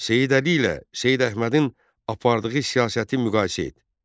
Seyid Əli ilə Seyid Əhmədin apardığı siyasəti müqayisə et.